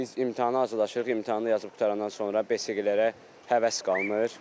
Biz imtahana hazırlaşırıq, imtahanı yazıb qutarandan sonra besiqələrə həvəs qalmır.